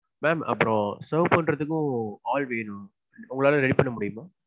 ma'am அப்பறம் serve பண்றதுக்கும் ஆள் வேணும் உங்களால ready பண்ண முடியுமா?